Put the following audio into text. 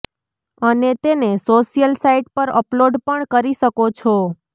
અને તેને social site પર અપલોડ પણ કરી શકો છો